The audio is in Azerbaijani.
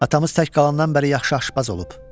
Atamız tək qalandan bəri yaxşı aşpaz olub.